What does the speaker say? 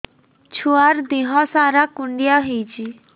ଛୁଆର୍ ଦିହ ସାରା କୁଣ୍ଡିଆ ହେଇଚି